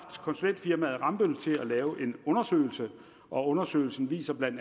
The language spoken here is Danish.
konsulentfirmaet rambøll til at lave en undersøgelse og undersøgelsen viser bla at